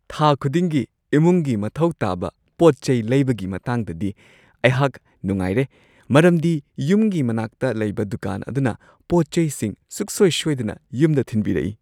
ꯊꯥ ꯈꯨꯗꯤꯡꯒꯤ ꯏꯃꯨꯡꯒꯤ ꯃꯊꯧ ꯇꯥꯕ ꯄꯣꯠ-ꯆꯩ ꯂꯩꯕꯒꯤ ꯃꯇꯥꯡꯗꯗꯤ, ꯑꯩꯍꯥꯛ ꯅꯨꯡꯉꯥꯏꯔꯦ ꯃꯔꯝꯗꯤ ꯌꯨꯝꯒꯤ ꯃꯅꯥꯛꯇ ꯂꯩꯕ ꯗꯨꯀꯥꯟ ꯑꯗꯨꯅ ꯄꯣꯠ-ꯆꯩꯁꯤꯡ ꯁꯨꯛꯁꯣꯏ-ꯁꯣꯏꯗꯅ ꯌꯨꯝꯗ ꯊꯤꯟꯕꯤꯔꯛꯏ ꯫